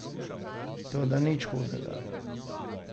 Toda nič hudega.